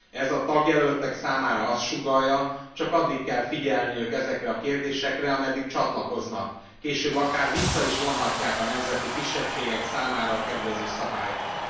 Ez a tagjelöltek számára azt sugallja, csak addig kell figyelniük ezekre a kérdésekre, ameddig csatlakoznak, később akár vissza is vonhatják a nemzeti kisebbségek számára kedvező szabályokat.